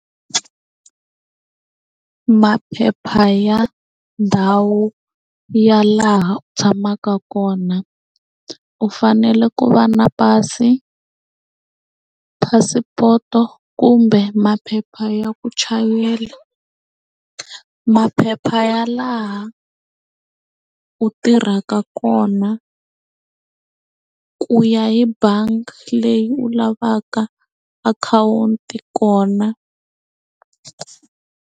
Maphepha ya ndhawu ya laha u tshamaka kona u fanele ku va na pasi phasipoto kumbe maphepha ya ku chayela maphepha ya laha u tirhaka kona ku ya hi bangi leyi u lavaka akhawunti kona.